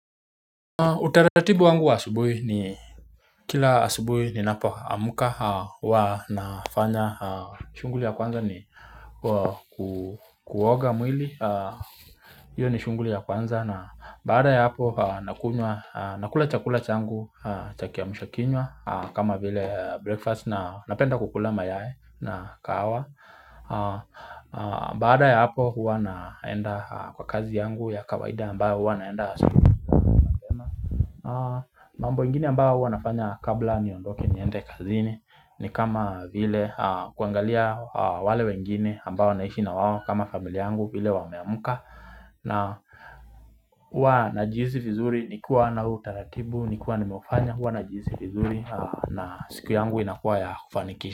Utaratibu wangu wa asubuhi ni kila asubuhi ninapo amka huwa nafanya shughuli ya kwanza ni kukuoga mwili hiyo ni shughuli ya kwanza na baada ya hapo nakunywa nakula chakula changu cha kiamsha kinywa kama vile breakfast na napenda kukula mayai na kahawa baada ya hapo huwa naenda kwa kazi yangu ya kawaida ambayo huwa naenda asubuhi mambo ingine ambao hua nafanya kabla niondoke niende kazini ni kama vile kuangalia wale wengine ambao naishi na wao kama familia yangu vile wameamka na hua na jihisi vizuri nikiwa na huu utaratibu nikiwa nimeufanya hua najihisi vizuri na siku yangu inakuwa ya kufanikisha.